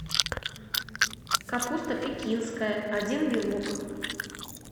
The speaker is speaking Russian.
капуста пекинская один вилок